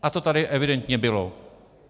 A to tady evidentně bylo.